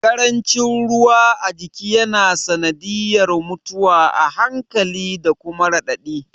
Ƙarancin ruwa a jiki ya na sanadiyar mutuwa a hankali da kuma raɗaɗi